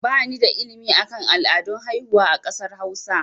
Ba ni da ilimi akan al'adun haihuwa a kasar hausa